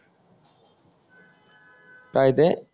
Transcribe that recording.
काय ते